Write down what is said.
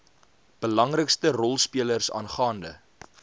belangrikste rolspelers aangaande